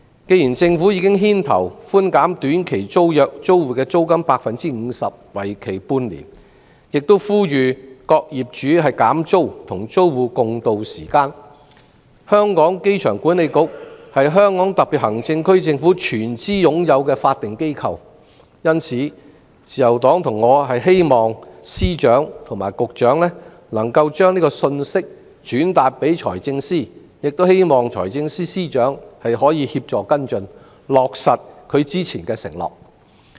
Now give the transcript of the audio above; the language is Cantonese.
既然政府已牽頭寬減短期租約租戶 50% 的租金，為期半年，又呼籲各業主減租，與租戶共渡時艱，機管局亦是香港特別行政區政府全資擁有的法定機構，自由黨和我因此希望司長及局長能夠將這個信息轉達財政司司長，亦希望財政司司長可協助跟進，落實他之前的承諾。